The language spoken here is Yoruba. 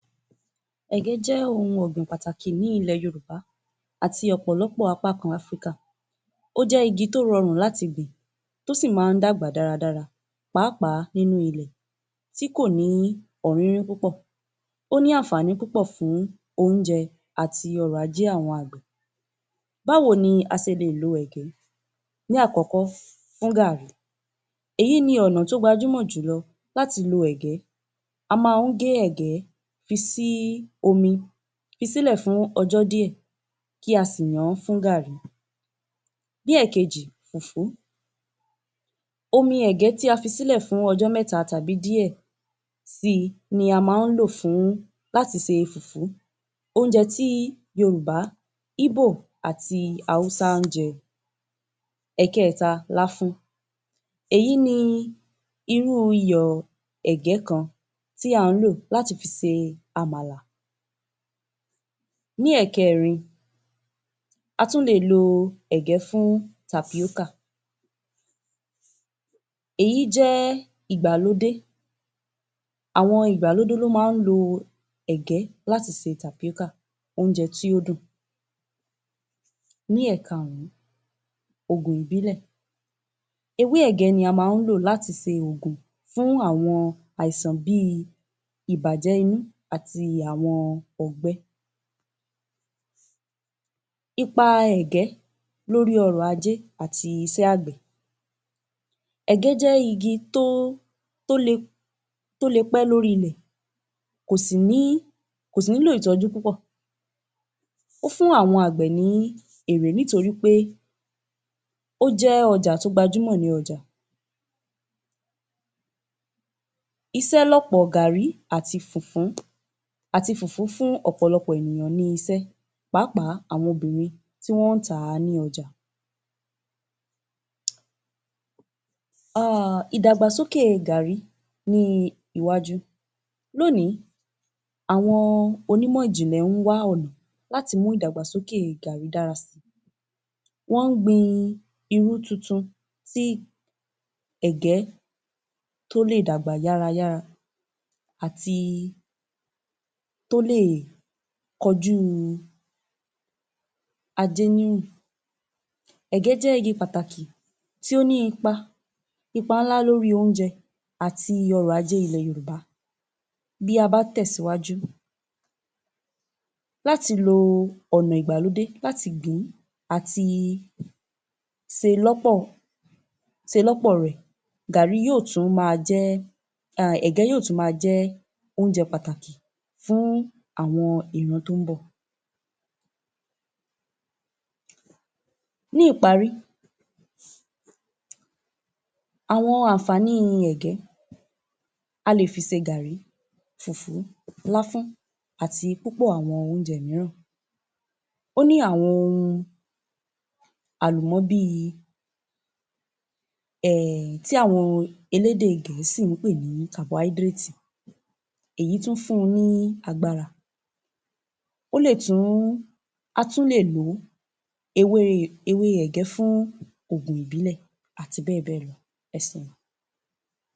Ẹ̀gẹ́ jẹ́ ohun ọ̀gbìn pàtàkì ní ilẹ̀ Yorùbá àti ọ̀pọ̀lọpọ̀ apá kan Áfríkà. Ó jẹ́ igi tó rọrùn láti gbìn tó sì máa ń dàgbà dáradára pàápàá nínú ilẹ̀ tí kò ní púpọ̀. Ó ní ànfàní púpọ̀ fún oúnjẹ àti ọrọ̀-ajé àwọn àgbẹ̀. Báwo ni a sè lè ló ẹ̀gẹ́? Ní àkọ́kọ́, fún gaàrí. Èyí ni ọ̀nà tó gbajúmọ̀ jùlọ láti lo ẹ̀gẹ́. A máa ń gé ẹ̀gẹ́ fi sí omi. Fi sílẹ̀ fún ọjọ́ díẹ̀ kí a sì yàn-án fún gàrí. Bí èkejì, fùfú. Omi ẹ̀gẹ́ tí a fi sílẹ̀ fún ọjọ́ mẹ́ta tàbí díẹ̀ si, ni a máa ń lò fún láti se fùfú. Oúnjẹ tí Yorùbá, íbò, àti Haúsá ń jẹ. Ẹ̀kẹ́ta, láfún. Èyí ni irú iyọ̀ ẹ̀gẹ́ kan tí à ń lò láti fi se Àmàlà. Ní ẹ̀kẹ́rin, á tún lè lo ẹ̀gẹ́ fún tapioca. Èyí jẹ́ ìgbàlódé. Àwọn ìgbàlódé ló máa ń lo ẹ̀gẹ́ láti se tapioca, oúnjẹ tí ó dùn. Ní ẹ̀kárùn-ún, ògùn-ìbílẹ̀. Ewé ẹ̀gẹ́ ni a máa ń lò láti se ògùn-ìbílẹ̀ fún àwọn àìsàn bí i ìbàjẹ́ inú àti àwọn ọgbẹ́. Ipa ẹ̀gẹ́ lórí ọ̀rọ̀-ajé àti iṣẹ́ àgbẹ̀. Ẹ̀gẹ́ jẹ́ igi tó le, tó le pẹ́ lórí ilẹ. Kò sì ní, kò sì nílò ìtọ́jú púpọ̀. Ó fún àwọn àgbẹ̀ ní èrè nítorí pé ó jẹ́ ọjà tó gbajúmọ̀ ní ọjà. Isẹ́ lọ̀pọ̀ gàrí àti fùfú fún ọ̀pọ̀lọpọ̀ ènìyàn ní isẹ́, pàápàá, àwọn obìnrin tí wọ́n ń tà á ní ọjà. um ìdàgbàsókè gàrí ní iwájú. Lónìí, àwọn onímọ̀ ìjìnlẹ̀ ń wá ọ̀nà láti mú ìdàgbàsókè gàrí dára si. Wọ́n ń gbin irú tuntun, tí ẹ̀gẹ́ tó lè dàgbà yára yára àti tó lè kọjú ajé. Ẹ̀gẹ́ jẹ́ igi pàtàkì tí ó ní ipa ńlá lórí oúnjẹ àti ọrọ̀-ajé Yorùbá. Bí a bá tẹ̀síwájú láti lo ọ̀nà ìgbàlódé, láti gbìn-ín àti se lọ́pọ̀, se lọ́pọ̀ rẹ̀, gàrí yóò tún ma jẹ́, um ẹ̀gẹ́ yóò tún ma jẹ́ oúnjẹ pàtàkì fún àwọn ìran tó ń bọ̀. Ní ìparí, àwọn ànfàní ẹ̀gẹ́, a lè fi se gàrí, fùfú, láfún, àti púpọ̀ àwọn oúnjẹ mìíràn. Ó ní àwọn ohun àlùmọ́ bí i um tí àwọn elédè gẹ̀ẹ́sì ń pè ní. Èyí tún fun ni agbára. Ó lè tún, a tún lè lò ó, ewé ẹ̀gẹ́ fún ògùn ìbílẹ̀ àti bẹ́ẹ̀bẹ́ẹ̀ lọ. Ẹ seun